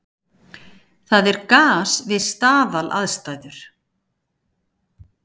það er gas við staðalaðstæður